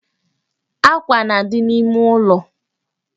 Àkwà na-adị n'ime ụlọ